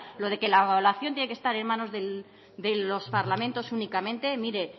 lo de que la evaluación tiene que estar en manos de los parlamentos únicamente mire